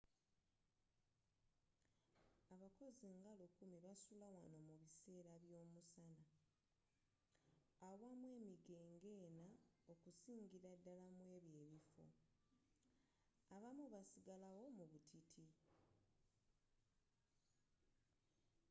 abakozi nga lukumi basula wanno mu bissera by'omusana awamu emige ngena okusingira ddala mwebyo ebiffo abamu basigalawo mu butiti